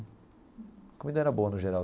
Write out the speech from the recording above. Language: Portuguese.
A comida era boa, no geral.